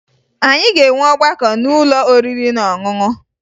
Anyị ga-enwe ọgbakọ n'ụlọ oriri na ọṅụṅụ